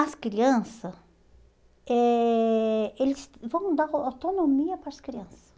As criança, eh eles vão dar autonomia para as crianças.